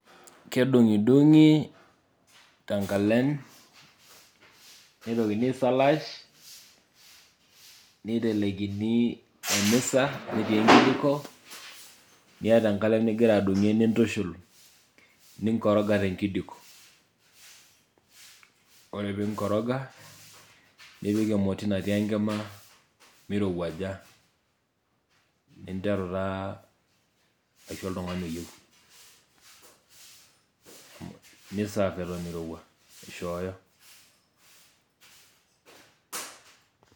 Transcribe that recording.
Kedung'idung'i te inkalem, neitikini aisalaach neitelekini emesa, netii enkijiko nieta enkalem nigira adungie nintushul ninkoroga te nkijiko, ore piimkoroga nipik emoti natii enkima meirewuaja, nintaru taa asiho oltungani oyieu, niseve eton eirewua aishooyo.